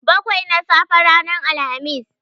Bakwai na safe ranar Alhamis.